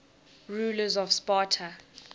rulers of sparta